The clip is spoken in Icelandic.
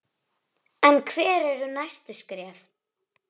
En hver eru næstu skref?